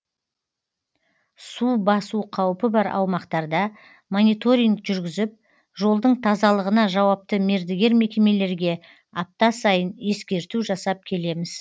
су басу қаупі бар аумақтарда мониторинг жүргізіп жолдың тазалығына жауапты мердігер мекемелерге апта сайын ескерту жасап келеміз